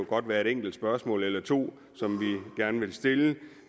godt være et enkelt spørgsmål eller to som vi gerne vil stille